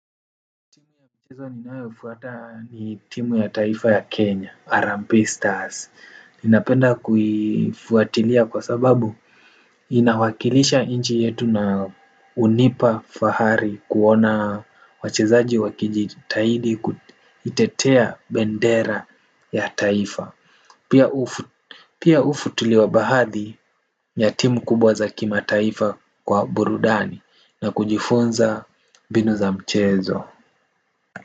Timu ya mchezo ninayofuata ni timu ya taifa ya Kenya, Harambee Stars, ninapenda kuifuatilia kwa sababu inawakilisha nchi yetu na hunipa fahari kuona wachezaji wakijitahidi kuitetea bendera ya taifa, pia hufuatiliwa baadhi ya timu kubwa za kimataifa kwa burudani na kujifunza mbinu za mchezo.